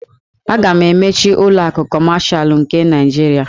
A ga-emechi ụlọ akụ Kọmashal nke Naịjirịa.